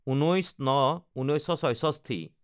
১৯/০৯/১৯৬৬